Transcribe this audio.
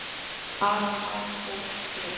Bar þar tvennt til.